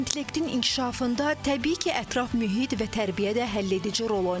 İntellektin inkişafında təbii ki, ətraf mühit və tərbiyə də həll edici rol oynayır.